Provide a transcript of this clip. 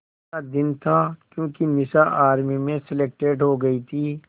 का दिन था क्योंकि निशा आर्मी में सेलेक्टेड हो गई थी